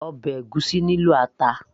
ọbẹ̀ ègúsí nílò ata